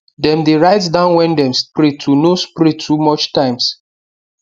dem dey write down when dem spray to no spray too much times